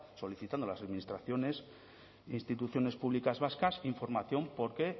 solicitando a las administraciones e instituciones públicas vascas información porque